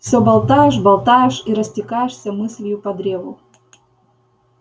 все болтаешь болтаешь и растекаешься мыслью по древу